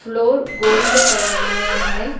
Door gold colour में है।